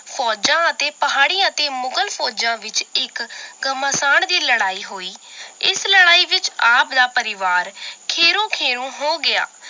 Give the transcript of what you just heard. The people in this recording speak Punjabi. ਫੌਜਾਂ ਅਤੇ ਪਹਾੜੀ ਅਤੇ ਮੁਗ਼ਲ ਫੌਜਾਂ ਵਿਚ ਇੱਕ ਘਮਾਸਾਨ ਜਿਹੀ ਲੜਾਈ ਹੋਈ l ਇਸ ਲੜਾਈ ਵਿਚ ਆਪ ਦਾ ਪਰਿਵਾਰ ਖੇਰੋਂ ਖੇਰੋਂ ਹੋ ਗਿਆ l